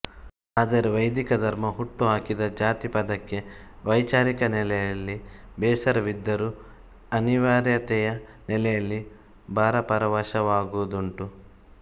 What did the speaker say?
ಆದರೆ ವೈಧಿಕ ಧರ್ಮ ಹುಟ್ಟು ಹಾಕಿದ ಜಾತಿ ಪದಕ್ಕೆ ವೈಚಾರಿಕ ನೆಲೆಯಲ್ಲಿ ಬೇಸರವಿದ್ದರೂ ಅನಿವಾರ್ಯತೆಯ ನೆಲೆಯಲ್ಲಿ ಭಾವಪರವಶರಾಗುವುದುಂಟು